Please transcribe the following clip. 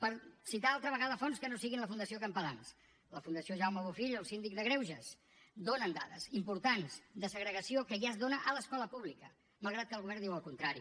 per citar altra vegada fonts que no siguin la fundació campalans la fundació jaume bofill o el síndic de greuges donen dades importants de segregació que ja es dóna a l’escola pública malgrat que el govern diu el contrari